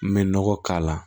N bɛ nɔgɔ k'a la